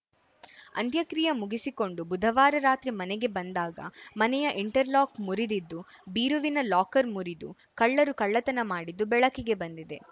ಅಂತ್ಯಕ್ರಿಯೆ ಮುಗಿಸಿಕೊಂಡು ಬುಧವಾರ ರಾತ್ರಿ ಮನೆಗೆ ಬಂದಾಗ ಮನೆಯ ಇಂಟರ್‌ ಲಾಕ್‌ ಮುರಿದಿ ದ್ದು ಬೀರುವಿನ ಲಾಕರ್‌ ಮುರಿದು ಕಳ್ಳರು ಕಳ್ಳತನ ಮಾಡಿದ್ದು ಬೆಳಕಿಗೆ ಬಂದಿದೆ